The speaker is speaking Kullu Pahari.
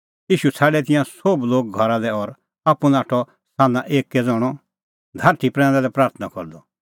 ईशू छ़ाडै तिंयां सोभ लोग घरा लै और आप्पू नाठअ सान्हां एक्कै ज़ण्हअ धारठी प्रैंदा लै प्राथणां करदअ